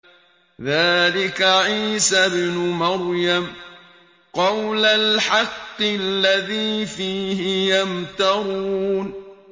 ذَٰلِكَ عِيسَى ابْنُ مَرْيَمَ ۚ قَوْلَ الْحَقِّ الَّذِي فِيهِ يَمْتَرُونَ